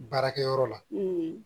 Baarakɛyɔrɔ la